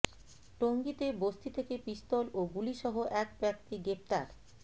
টঙ্গীতে বস্তি থেকে পিস্তল ও গুলিসহ এক ব্যক্তি গ্রেপ্তার